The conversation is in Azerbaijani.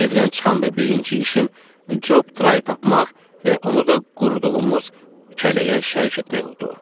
Evdən çıxanda birinci işim Cob Trayı tapmaq və onu da qurutduğumuz kələyə şərik etmək oldu.